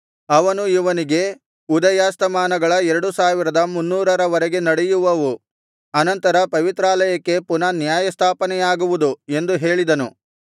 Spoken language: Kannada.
ಅವನು ಇವನಿಗೆ ಉದಯಾಸ್ತಮಾನಗಳ ಎರಡು ಸಾವಿರದ ಮುನ್ನೂರ ರವರೆಗೆ ನಡೆಯುವವು ಅನಂತರ ಪವಿತ್ರಾಲಯಕ್ಕೆ ಪುನಃ ನ್ಯಾಯಸ್ಥಾಪನೆಯಾಗುವುದು ಎಂದು ಹೇಳಿದನು